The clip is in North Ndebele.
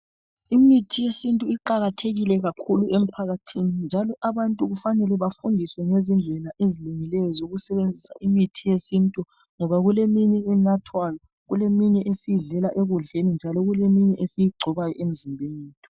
Imithi yesintu iqakathekile kakhulu emphakathini. Njalo abantu kufanele bafundiswe ngezindlela ezilungileyo zokusebenzisa imithi yesintu. Ngoba kuleminye enathwayo, kuleminye esiyidlela ekudleni leminye esiyigcoba emzimbeni.